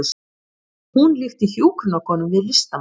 Hún líkti hjúkrunarkonum við listamenn